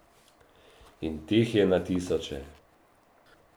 In teh je na tisoče.